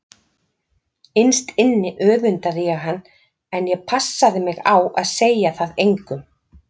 Innst inni öfundaði ég hann en ég passaði mig á að segja það engum.